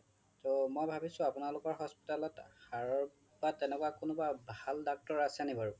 টো মই ভাবিছোঁ আপোনালোকৰ hospital ত হাৰৰ বা কোনোবা তেনেকুৱা ভাল doctor আছে নেকি বাৰু